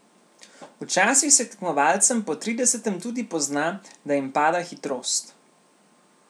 Včasih se tekmovalcem po tridesetem tudi pozna, da jim pada hitrost.